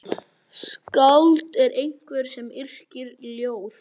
Skáld er einhver sem yrkir ljóð.